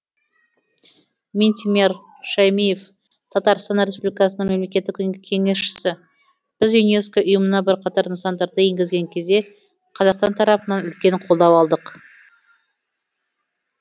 минтимер шаймиев татарстан республикасының мемлекеттік кеңесшісі біз юнеско ұйымына бірқатар нысандарды енгізген кезде қазақстан тарапынан үлкен қолдау алдық